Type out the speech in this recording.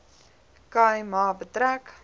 khai ma betrek